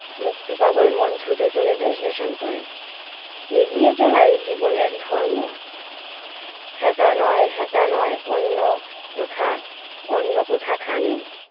মুক্তি পাগল মন ছুটে চলে দেশ দেশান্তরে, এগিয়ে চলায় জীবনের ধর্ম হ্যাতা হ্যাতা নয় অন্য কথা অন্য কোথা খানে,